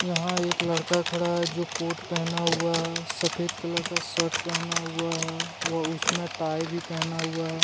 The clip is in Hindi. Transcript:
यहां एक लड़का खड़ा है जो कोट पहना हुआ है सफ़ेद कलर का शर्ट पहना हुआ है व उसमें टाई भी पहना हुआ है।